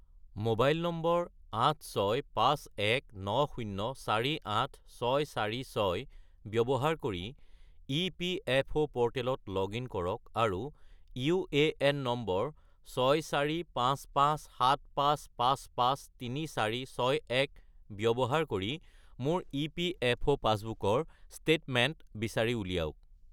mobile number 86519048646 ব্যৱহাৰ কৰি EPFO প'ৰ্টেলত লগ-ইন কৰক আৰু ইউএএন নম্বৰ 645575553461 ব্যৱহাৰ কৰি মোৰ ইপিএফঅ’ পাছবুকৰ ষ্টেটমেণ্ট বিচাৰি উলিয়াওক